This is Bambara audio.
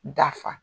Dafa